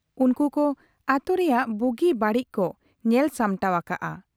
ᱩᱱᱠᱩ ᱠᱚ ᱟᱛᱩ ᱨᱮᱭᱟᱜ ᱵᱩᱜᱤ ᱵᱟᱹᱲᱤᱡ ᱠᱚ ᱧᱮᱞ ᱥᱟᱢᱴᱟᱣ ᱟᱠᱟᱜ ᱟ ᱾